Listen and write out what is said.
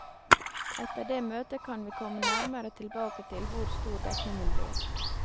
Etter det møtet kan vi komme nærmere tilbake til hvor stor dekningen blir.